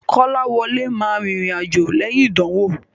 Kọ́láwọlé ma rìnrìn àjò lẹ́yìn ìdánwò.